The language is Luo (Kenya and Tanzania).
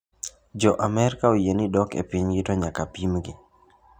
Jo amerka oyieni dok e pinygi to nyaka pimgi.